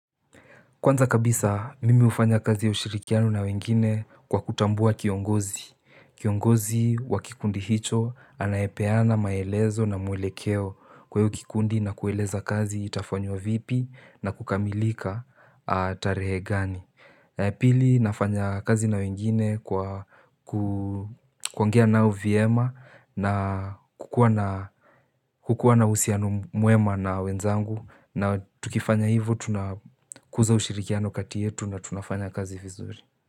Kwanza kabisa mimi hufanya kazi ya ushirikiano na wengine kwa kutambua kiongozi. Kiongozi wa kikundi hicho anaepeana maelezo na muelekeo kwa hiyo kikundi na kueleza kazi itafanywa vipi na kukamilika tarehe gani. Pili nafanya kazi na wengine kwa kuongea nao vyema na kukuwa na uhusiano mwema na wenzangu na tukifanya hivo tunakuza ushirikiano kati yetu na tunafanya kazi vizuri.